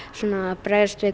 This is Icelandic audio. bregðast við